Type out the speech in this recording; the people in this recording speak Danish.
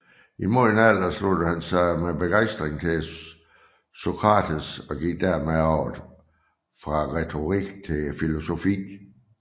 I moden alder sluttede han sig med begejstring til Sokrates og gik dermed over fra retorik til filosofi